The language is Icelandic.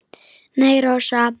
Nei, Rósa.